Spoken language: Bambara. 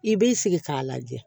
I b'i sigi k'a lajɛ